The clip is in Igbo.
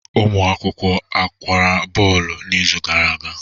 Ụmụ akwụkwọ a ọ gbara bọọlụ n'izu gara aga?